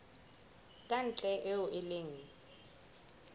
ka ntle eo e leng